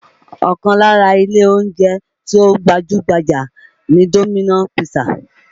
Ọkàn lára ilé oúnjẹ tí ó gbajú-gbajà ni Dominos pizza